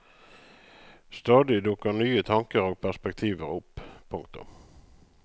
Stadig dukker nye tanker og perspektiver opp. punktum